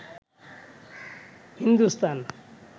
Hindustan